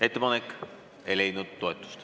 Ettepanek ei leidnud toetust.